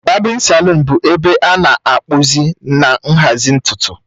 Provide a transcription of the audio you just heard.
Babin salụn bụ ebe a na-akpụzi na nhazi ntutu